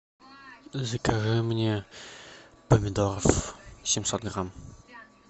закажи мне помидоров семьсот грамм